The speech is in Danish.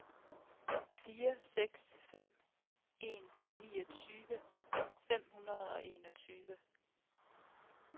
fire seks fem en niogtyve fem hundrede og enogtyve